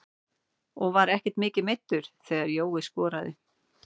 Ég var ekkert mikið meiddur þegar Jói skoraði.